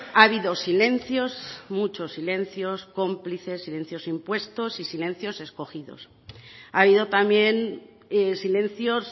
ha habido silencios muchos silencios cómplices silencios impuestos y silencios escogidos ha habido también silencios